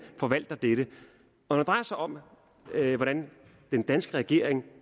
forvalter dette når det drejer sig om hvordan den danske regering